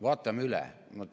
Vaatame üle.